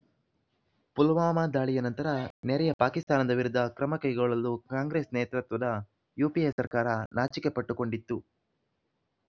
ಪುಲ್ವಾಮಾ ದಾಳಿಯ ನಂತರ ನೆರೆಯ ಪಾಕಿಸ್ತಾನದ ವಿರುದ್ಧ ಕ್ರಮಕೈಗೊಳ್ಳಲು ಕಾಂಗ್ರೆಸ್ ನೇತೃತ್ವದ ಯುಪಿಎ ಸರ್ಕಾರ ನಾಚಿಕೆಪಟ್ಟುಕೊಂಡಿತ್ತು